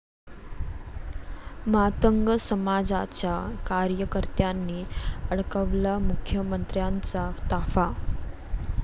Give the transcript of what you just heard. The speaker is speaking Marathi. मातंग समाजाच्या कार्यकर्त्यांनी अडवला मुख्यमंत्र्यांचा ताफा